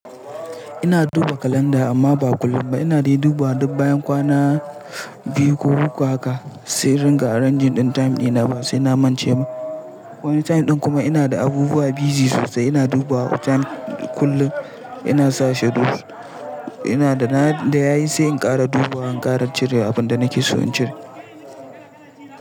Ina duba kalanda amma ba kullum ba. Ina dai dubawa duk bayan kwana biyu ko uku haka, sai in ringa a ranjin ɗin time din time dina ba sai na mance ba. Wani time ɗin kuma ina da abubuwa busy sosai, ina duba wa time kullum ina sa schedule. Ina da na da yayi sai in ƙara duba, in ƙara cire abin da nake so in cire.